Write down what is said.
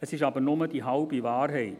Es ist aber nur die halbe Wahrheit.